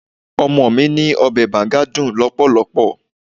Ọmọ mi ní Ọbẹ̀ Banga dùn lọpọlọpọ.